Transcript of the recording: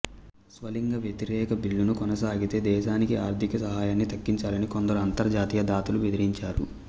స్వలింగ వ్యతిరేక బిల్లులు కొనసాగితే దేశానికి ఆర్థిక సహాయాన్ని తగ్గించాలని కొందరు అంతర్జాతీయ దాతలు బెదిరించారు